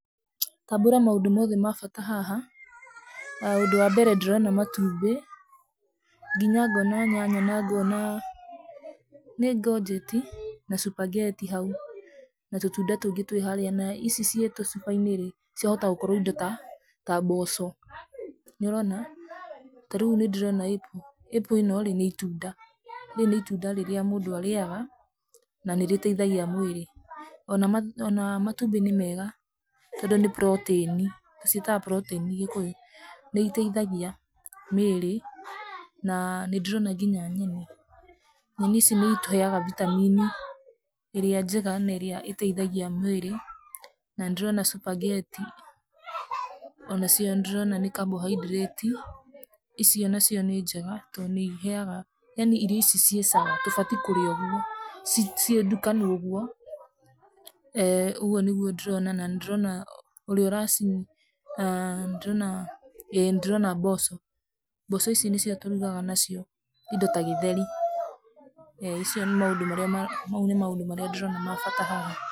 Tambũra maũndũ mothe ma bata haha. Ũndũ wa mbere ndĩrona matumbĩ nginya ngona nyanya na ngona, nĩ ngojeti? Na spaghetti hau, na tũtunda tũngĩ twĩ harua na ici ciĩ tũcubainĩ rĩ ciahota gũkorwo nĩ indo ta mboco, nĩ wona? Ta rĩu nĩ ndĩrona apple, apple ĩno rĩ nĩ itunda rĩrĩa mũndũ arĩaga na nĩ rĩteithagia mwĩrĩ ona matumbĩ nĩ mega tondũ nĩ protaini to ciĩtaga protaini. Nĩ iteithagia mwĩrĩ na nĩ ndĩrona nginya nyeni, nyeni ici nĩ citũheaga vitamin ĩrĩa njega na ĩrĩa ĩteithagia mwĩrĩ na nĩ ndĩrona spaghetti onacio nĩ ndĩrona nĩ carbohydrates icio nacio nĩ njega to nĩ iheaga, yaani irio ici ciĩ sawa tũbatiĩ kũrĩa ũguo ciĩ ndukanu ũguo. ũguo nĩguo nĩdrona na nĩ ndĩrona mboco. Mboco ici nĩcio tũrugaga nacio indo ta gĩtheri, mau nĩ maũndũ marĩa ndĩrona ma bata haha.